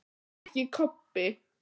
En ekki Kobbi.